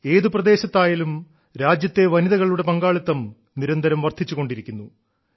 ഏതു പ്രദേശത്തായാലും രാജ്യത്തെ വനിതകളുടെ പങ്കാളിത്തം നിരന്തരം വർദ്ധിച്ചുകൊണ്ടിരിക്കുന്നു